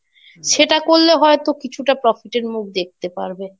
সেটা করলে হয়তো কিছুটা profit এর মুখ দেখতে পারবে।